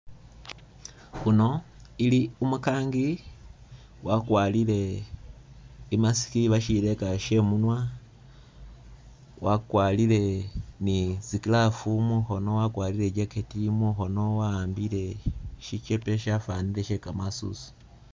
Uno ili umukangi wakwalile i'mask oba syileeka sye i'munwa, wakwalile ni tsi glove mukhono wakwalile i'jacket ili mukhono wakhambile sikepe syafwanile sye kamaasuswa.